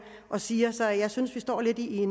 og siger så jeg synes vi står lidt i